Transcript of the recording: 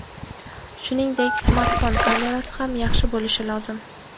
Shuningdek, smartfon kamerasi ham yaxshi bo‘lishi lozim.